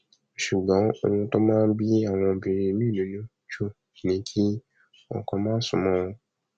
ṣùgbọn ohun tó máa ń bí àwọn obìnrin miín nínú jù ni kí ọkọ má sún mọ wọn